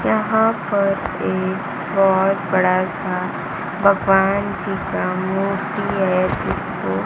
यहां पर एक बहुत बड़ा सा भगवान जी का मूर्ति है जिसको--